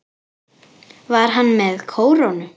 Var hann með kórónu?